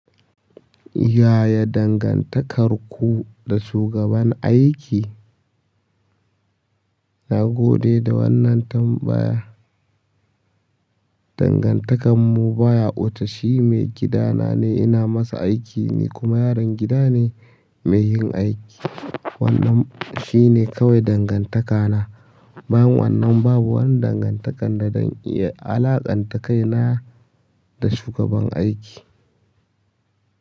Yaya dangantakarku da shugaban aiki? Nagode da wannan tambaya. Dangantakarmu baya wuce shi maigidana ne ina masa aiki ni kuma yaron gida ne mai yin aiki. Wannan shine kawai dangantakana. Bayan wannan babu wani dangantakar da zan iya alaƙanta kaina da shugaban aiki.